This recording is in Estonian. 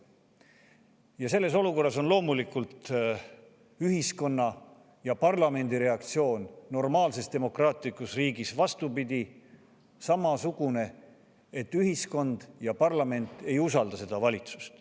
Ja selles olukorras on loomulikult ühiskonna ja parlamendi reaktsioon normaalses demokraatlikus riigis pidi samasugune: ühiskond ja parlament ei usalda valitsust.